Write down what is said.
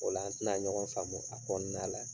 Ola an tena ɲɔgɔn faamu a kɔɔna la.